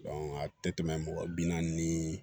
a tɛ tɛmɛ mɔgɔ bi naani ni